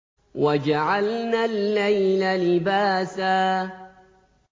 وَجَعَلْنَا اللَّيْلَ لِبَاسًا